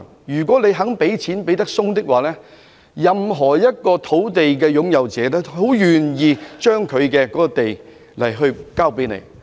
如果政府願意"手鬆"一點，任何一塊土地的擁有人都會樂意把土地交還政府。